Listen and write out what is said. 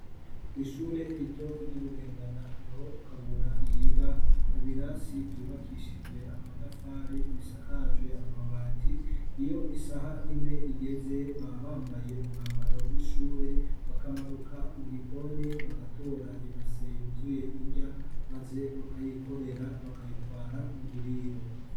kwishure rito ry'ubugendana niho kabura yiga mu birasi byubakishije amatafari bisakajwe amabati iyo isaha imwe igeze babambaye umwambaro w'ishure bakamanuka mu gikoni bagatora ibase yuzuye indya maze bakayikorera bakayitwara mu buriro